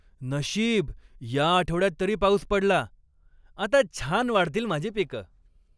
नशीब, या आठवड्यात तरी पाऊस पडला. आता छान वाढतील माझी पिकं.